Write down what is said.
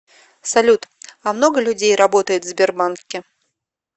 салют а много людей работает в сбербанке